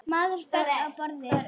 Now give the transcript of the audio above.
Maður féll á borðið.